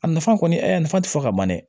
A nafa kɔni nafa ti fɔ ka ban dɛ